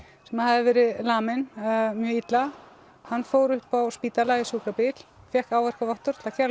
sem hafði verið laminn mjög illa hann fór upp á spítala í sjúkrabíl og fékk áverkavottorð til að kæra